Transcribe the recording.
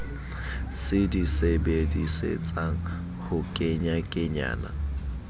se di sebedisetsang ho kenyakenyana